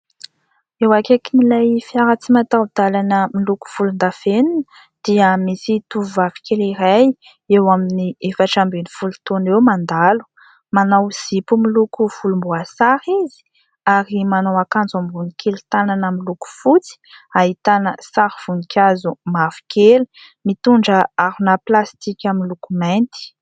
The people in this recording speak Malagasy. Eo akaikin'ilay fiara tsy mataho-dalana miloko volondavenona dia misy tovovavy kely iray eo amin'ny efatra ambin'ny folo taona eo mandalo. Manao zipo miloko volomboasary izy ary manao akanjo ambony kely tanana miloko fotsy, ahitana sary voninkazo mavokely, mitondra harona plastika miloko mainty.